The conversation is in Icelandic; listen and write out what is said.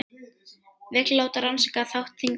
Vill láta rannsaka þátt þingmanna